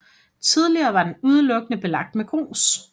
Tidligere var den udelukkende belagt med grus